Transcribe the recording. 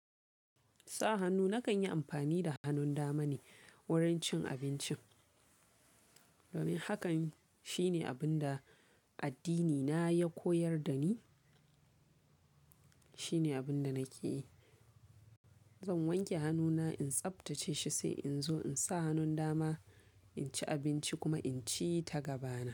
Sa hannu nakan yi amfani da hannun dama ne wurin cin abincin. Domin hakan shi ne abin da addinina ya koyar da ni, shi ne abin da nake yi. Zan wanke hannuna in tsabtace shi sai in zo in sa hannun dama in ci abinci kuma in ci ta gaba na.